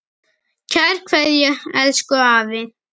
Kær kveðja, elsku afi.